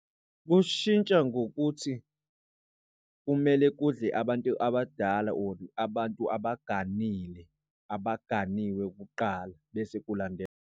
Kushintsha ngokuthi kumele kudle abantu abadala or abantu abaganile abaganiwe kuqala bese kulandela.